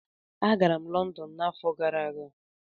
Agara m Lọndọn n'afọ gara aga